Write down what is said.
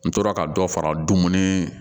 N tora ka dɔ fara dumuni